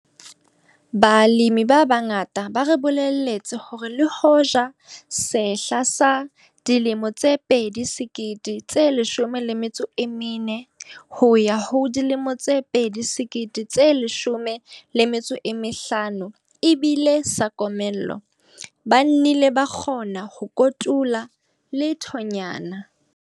Balemi ba bangata ba re bolelletse hore le hoja sehla sa 2014 2015 e bile sa komello, ba nnile ba kgona ho kotula lethonyana.